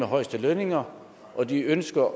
højeste lønninger og de ønsker